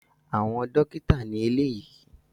Àwọn dókítà ni eléyìí